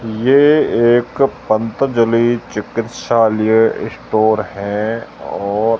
ये एक पंतजलि चिकित्सालय स्टोर है और--